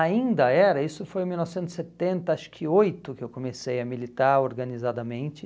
Ainda era, isso foi em mil novecentos e setenta, acho que oito, que eu comecei a militar organizadamente.